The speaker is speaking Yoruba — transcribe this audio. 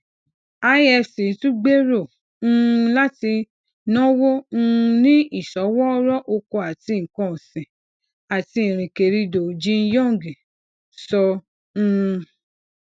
ifc tun gbero um lati nawo um ni isowooro oko ati nkan osin ati irinkerindo jinyong sọ um